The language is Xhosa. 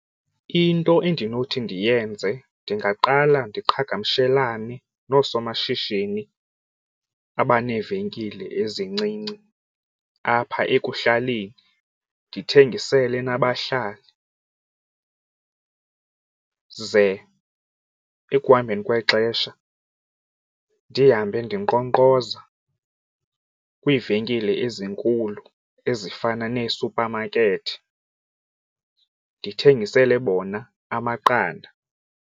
Into endinothi ndiyenze ndingaqala ndiqhagamshelane noosomashishini abaneevenkile ezincinci apha ekuhlaleni, ndithengisele nabahlali, ze ekuhambeni kwexesha ndihambe ndinkqonkqoza kwiivenkile ezinkulu ezifana neesuphamakethi ndithengisele bona amaqanda.